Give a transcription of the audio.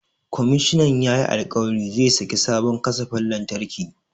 Komishinan yayi alƙawarin zai sake sabon kasafin lantarki.